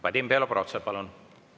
Vadim Belobrovtsev, palun!